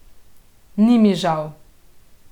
Ni mi žal.